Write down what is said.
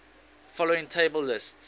following table lists